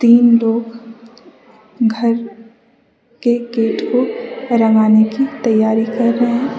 इन लोग घर के गेट को रंगाने की तैयारी कर रहे हैं।